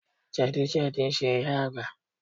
Jẹ̀dí jẹ̀dí ń ṣe ìyá Àgbà